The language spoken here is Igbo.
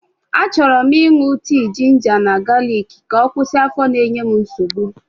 Achọrọ m ịṅụ tii jinja na galiki ka ọ kwụsị afọ na-enye m nsogbu.